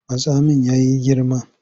Matsamin ya yi girma.